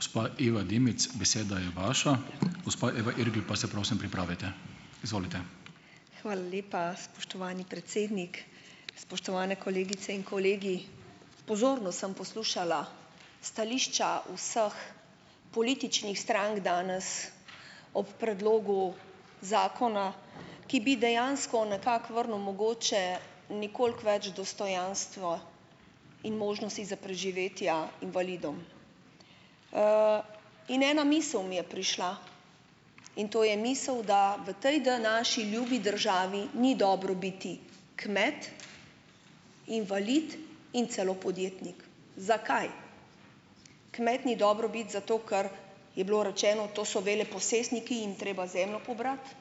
Gospa Iva Dimic, beseda je vaša, gospa Eva Irgl pa se prosim pripravite, izvolite. Hvala lepa spoštovani predsednik, spoštovane kolegice in kolegi, pozorno sem poslušala stališča vseh političnih strank danes ob predlogu zakona, ki bi dejansko nekako vrnil mogoče nekolik več dostojanstva in možnosti za preživetja invalidov, in ena misel mi je prišla in to je misel, da v tej današnji ljubi državi ni dobro biti kmet, invalid in celo podjetnik. Zakaj kmet ni dobro biti? Zato ker je bilo rečeno, to so veleposestniki, jim treba zemljo pobrati,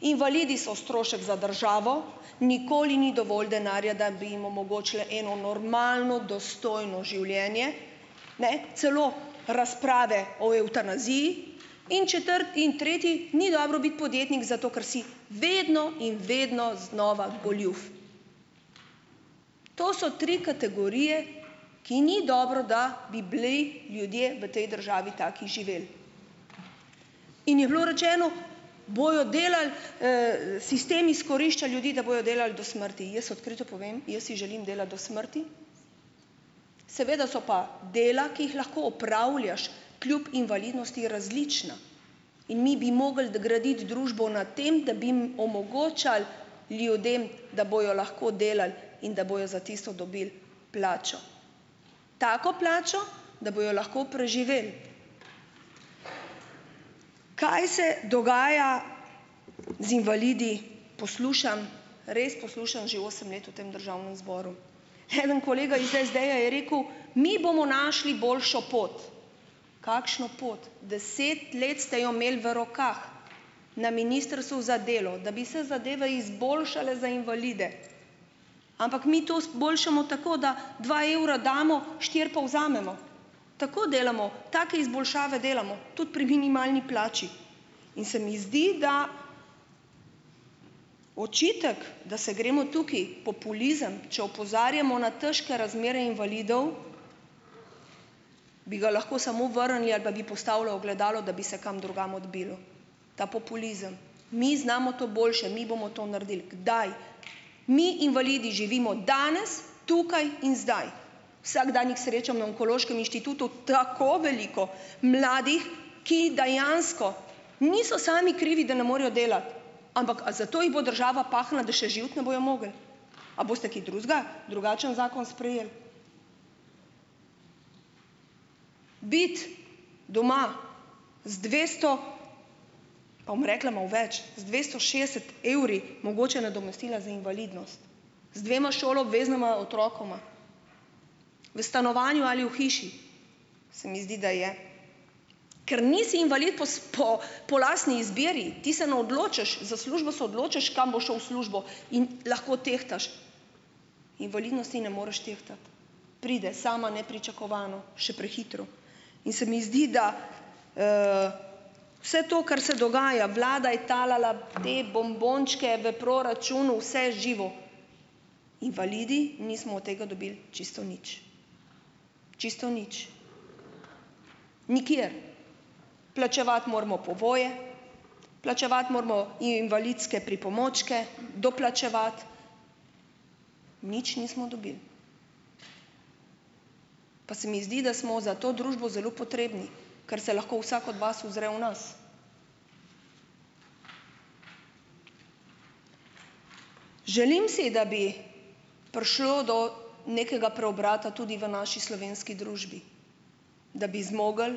invalidi so strošek za državo, nikoli ni dovolj denarja, da bi jim omogočili eno normalno dostojno življenje, ne, celo razprave o evtanaziji in in tretji ni dobro biti podjetnik, zato ker si vedno in vedno znova goljuf, to so tri kategorije, ki ni dobro, da bi bili ljudje v tej državi tak živelj, in je bilo rečeno, bojo delali, sistem izkorišča ljudi, da bojo delali do smrti, jaz odkrito povem, jaz si želim delati do smrti, seveda so pa dela, ki jih lahko opravljaš kljub invalidnosti, različna in mi bi mogli graditi družbo na tem, da bi jim omogočali, ljudem, da bojo lahko delali in da bojo za tisto dobili plačo, tako plačo, da bojo lahko preživeli, kaj se dogaja z invalidi, poslušam, res poslušam že osem let v tem državnem zboru, eden kolega iz SD-ja je rekel: "Mi bomo našli boljšo pot." Kakšno pot? Deset let ste jo imeli v rokah na ministrstvu za delo, da bi se zadeve izboljšale za invalide, ampak mi to boljšamo tako, da dva evra damo, štiri pa vzamemo, tako delamo, tako izboljšave delamo tudi pri minimalni plači in se mi zdi, da očitek, da se gremo tukaj populizem, če opozarjamo na težke razmere invalidov, bi ga lahko samo vrnili ali pa postavlja ogledalo, da bi se kam drugam odbilo ta populizem, mi znamo to boljše, mi bomo to naredili, daj, mi invalidi živimo danes tukaj in zdaj, vsak dan jih srečam na onkološkem inštitutu, tako veliko mladih, ki dejansko niso sami krivi da ne morejo delati, ampak a zato jih bo država pahnila, da še živeti ne bojo mogli, a boste kaj drugega, drugačen zakon sprejeli, biti doma z dvesto, pa bom rekla malo več, z dvesto šestdeset evri mogoče nadomestila za invalidnost, z dvema šoloobveznima otrokoma v stanovanju ali v hiši, se mi zdi, da je, ker nisi invalid po po lastni izbiri, ti se ne odločaš za službo, se odločaš, kam boš šel v službo, in lahko tehtaš, invalidnosti ne moreš tehtati, pride sama nepričakovano, še prehitro, in se mi zdi, da, vse to, kar se dogaja, vlada je talala te bombončke v proračun, vse živo, invalidi nismo od tega dobili čisto nič, čisto nič, nikjer, plačevati moramo povoje, plačevati moramo invalidske pripomočke, doplačevati, nič nismo dobili, pa se mi zdi, da smo za to družbo zelo potrebni, kar se lahko vsak od vas uzre v nas, želim si, da bi prišlo do nekega preobrata tudi v naši slovenski družbi, da bi zmogli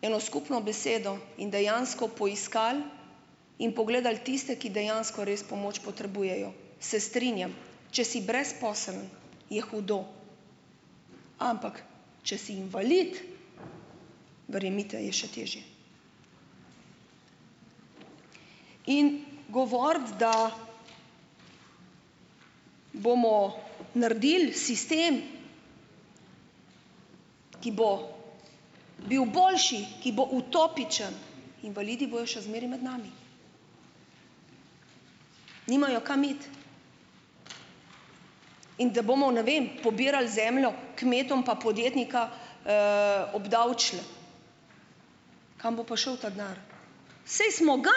eno skupno besedo in dejansko poiskali in pogledali tiste, ki dejansko res pomoč potrebujejo, se strinjam, če si brezposeln, je hudo, ampak če si invalid, verjemite, je še težje, in govoriti, da bomo naredili sistem, ki bo bil boljši, ki bo utopičen, invalidi bojo še zmeraj med nami, nimajo kam iti, in da bomo ne vem pobirali zemljo, kmetom pa podjetnika, obdavčili, kam bo pa šel ta denar, saj smo ga,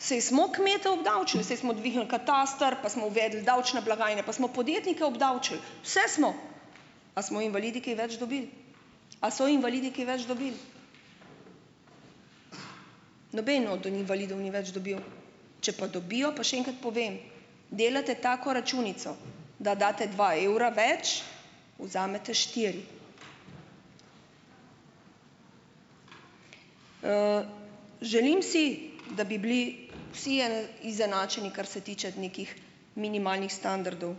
saj smo kmete obdavčili, saj smo dvignili kataster pa smo uvedli davčne blagajne pa smo podjetnike obdavčili, vse smo, a smo invalidi kaj več dobili, a so invalidi kaj več dobili, noben od invalidov ni več dobil, če pa dobijo, pa še enkrat povem, delate tako računico, da date dva evra več, vzamete štiri, želim si, da bi bili vsi izenačeni, kar se tiče nekih minimalnih standardov,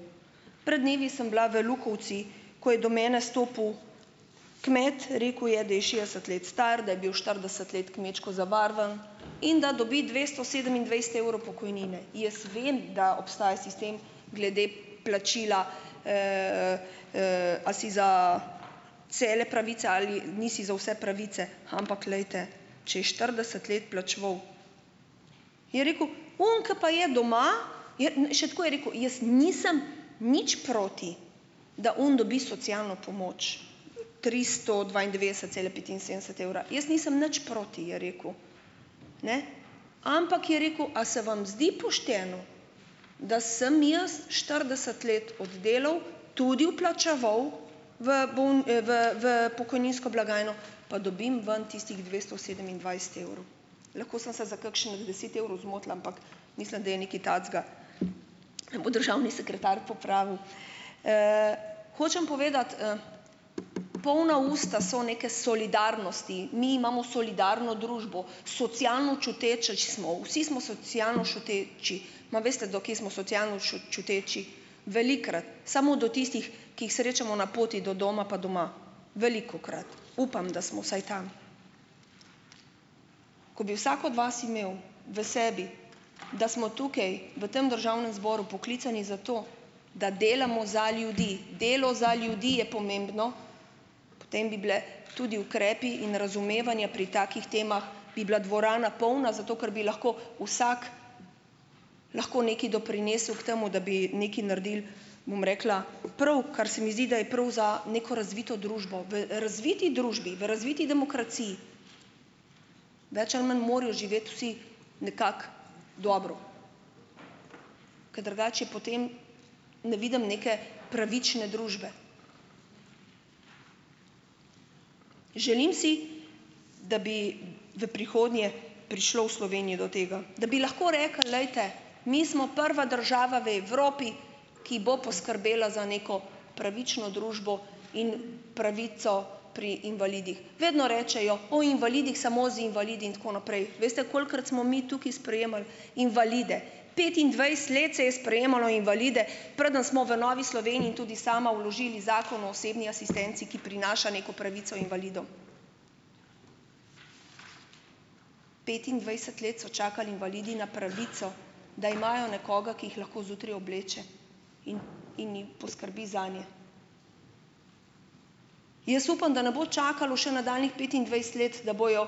pred dnevi sem bila v Lukovci, ko je do mene stopil kmet, rekel je, da je šestdeset let star, da je bil štirideset let kmečko zavarovan in da dobi dvesto sedemindvajset evrov pokojnine, jaz vem, da obstaja sistem glede plačila, a si za cele pravice ali nisi za vse pravice, ampak glejte, če je štirideset let plačeval, je rekel, oni, ki pa je doma, še tako je rekel: "Jaz nisem nič proti, da oni dobi socialno pomoč tristo dvaindevetdeset cele petinsedemdeset evra, jaz nisem nič proti," je rekel, ne, ampak je rekel: "a se vam zdi pošteno, da sem jaz štirideset let oddelal, tudi vplačeval v v v pokojninsko blagajno, pa dobim ven tistih dvesto sedemindvajset evrov?" Lahko sem se za kakšnih deset evrov zmotila, ampak mislim, da je nekaj takega, bo državni sekretar popravil, hočem povedati, polna usta so neke solidarnosti, mi imamo solidarno družbo, socialno čuječi smo, vsi smo socialno čuteči, ma veste, do kje smo socialno čuteči, velikokrat samo do tistih, ki jih srečamo na poti do doma pa doma, velikokrat, upam, da smo vsaj tam, ko bi vsak od vas imel v sebi, da smo tukaj v tem državnem zboru poklicani zato, da delamo za ljudi, delo za ljudi je pomembno, potem bi bili tudi ukrepi in razumevanje pri takih temah, bi bila dvorana polna, zato ker bi lahko vsak lahko nekaj doprinesel k temu, da bi nekaj naredili, bom rekla, prav, kar se mi zdi, da je prav za neko razvito družbo v, razviti družbi, v razviti demokraciji, več ali manj morajo živeti vsi nekako dobro, ker drugače je potem, ne vidim neke pravične družbe, želim si, da bi v prihodnje prišlo v Sloveniji do tega, da bi lahko rekli: "Glejte mi smo prva država v Evropi, ki bo poskrbela za neko pravično družbo in pravico pri invalidih." Vedno rečejo o invalidih, samo z invalidi in tako naprej, veste, kolikokrat smo mi tukaj sprejemali invalide? Petindvajset let se je sprejemalo invalide, preden smo v Novi Sloveniji tudi sami vložili zakon o osebni asistenci, ki prinaša neko pravico invalidom, petindvajset let so čakali invalidi na pravico, da imajo nekoga, ki jih lahko zjutraj obleče in, in poskrbi zanje, jaz upam, da ne bo čakalo še nadaljnjih petindvajset let, da bojo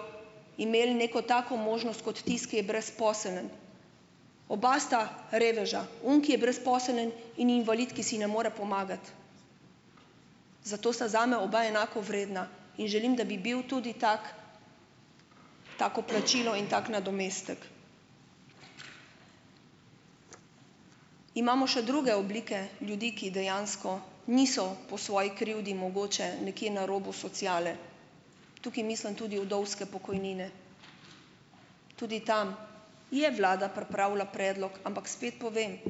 imeli neko tako možnost kot tisti, ki je brezposeln, oba sta reveža, oni, ki je brezposeln, in invalid, ki si ne more pomagati, zato sta zame oba enako vredna, in želim, da bi bil tudi tak, tako plačilo in tako nadomestek, imamo še druge oblike, ljudi, ki dejansko niso po svoji krivdi mogoče nekje na robu sociale, tukaj mislim tudi vdovske pokojnine, tudi tam je vlada pripravila predlog, ampak spet povem,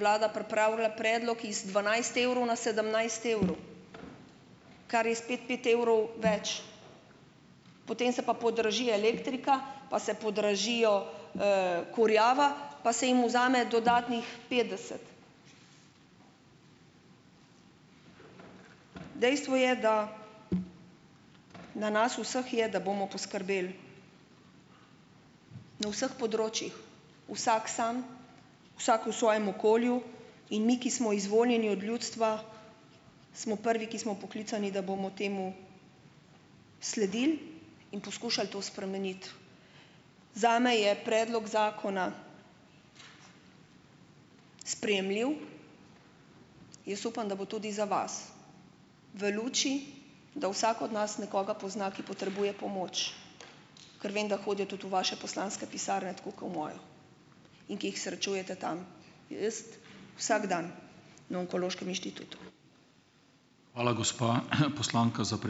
vlada pripravila predlog iz dvanajst evrov na sedemnajst evrov, kar je spet pet evrov več, potem se pa podraži elektrika pa se podražijo, kurjava pa se jim vzame dodatnih petdeset, dejstvo je, da na nas vseh je, da bomo poskrbeli na vseh področjih, vsak sam, vsak v svojem okolju in mi, ki smo izvoljeni od ljudstva, smo prvi, ki smo poklicani, da bomo temu sledili in poskušali to spremeniti, zame je predlog zakona sprejemljiv, jaz upam, da bo tudi za vas, v luči, da vsak od nas nekoga pozna, ki potrebuje pomoč, ker vem, da hodijo tudi v vaše poslanske pisarne tako kot v mojo, in ki jih srečujete tam, jaz vsak dan na onkološkem inštitutu. Hvala, gospa poslanka za ...